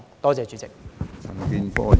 多謝主席。